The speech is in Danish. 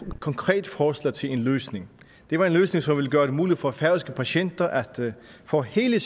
et konkret forslag til en løsning det var en løsning som ville gøre det muligt for færøske patienter at få hele